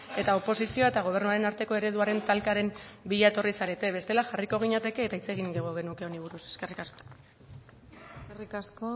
eta oposizioa eta gobernuaren arteko ereduaren talkaren bila etorri zarete bestela jarriko ginateke eta hitz egingo genuke honi buruz eskerri asko eskerrik asko